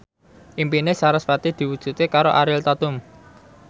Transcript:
impine sarasvati diwujudke karo Ariel Tatum